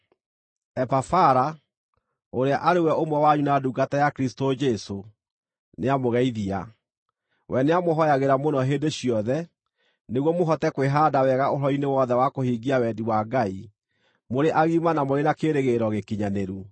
Epafara, ũrĩa arĩ ũmwe wanyu na ndungata ya Kristũ Jesũ, nĩamũgeithia. We nĩamũhooyagĩra mũno hĩndĩ ciothe, nĩguo mũhote kwĩhaanda wega ũhoro-inĩ wothe wa kũhingia wendi wa Ngai, mũrĩ agima na mũrĩ na kĩĩrĩgĩrĩro gĩkinyanĩru.